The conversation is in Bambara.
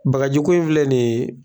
Bagajiko in filɛ nin ye